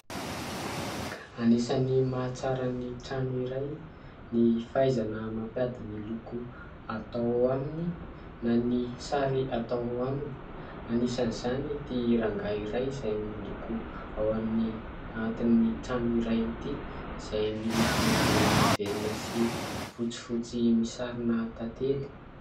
Anisan'ny mahatsara ny trano iray ny fahaizana mampiady ny loko atao aminy na ny sary atao aminy. Anisan'izany ity rangahy iray izay mandoko ao amin'ny atin'ny trano iray ity izay miloko volondavenona sy fotsifotsy misy sarina tantely.